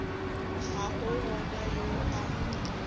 ga a gona yo a